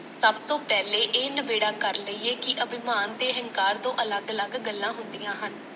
ਸਭ ਤੋਂ ਪਹਿਲੇਂ ਇਹ ਨਬੇੜਾ ਕਰ ਲਈਏ ਕਿ ਅਭਿਮਾਨ ਤੇ ਅਹੰਕਾਰ ਦੋ ਅਲੱਗ ਅਲੱਗ ਗੱਲਾਂ ਹੁੰਦੀਆਂ ਹਨ।